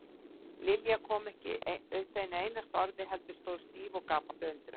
Lilja kom ekki upp einu einasta orði heldur stóð stíf og gapandi af undrun.